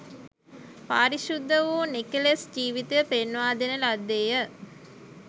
පාරිශුද්ධ වූ නිකෙලෙස් ජිවිතය පෙන්වා දෙන ලද්දේය